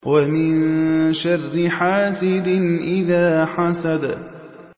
وَمِن شَرِّ حَاسِدٍ إِذَا حَسَدَ